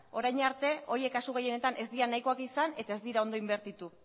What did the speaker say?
orain arte horiek kasu gehienetan ez dira nahikoak izan eta ez dira ondo inbertitu